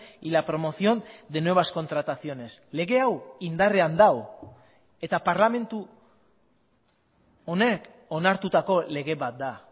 y la promoción de nuevas contrataciones lege hau indarrean dago eta parlamentu honek onartutako lege bat da